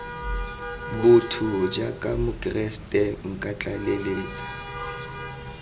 botho jaaka mokeresete nka tlaleletsa